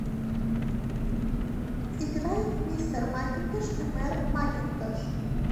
играй мистер макинтош эмэр макинтош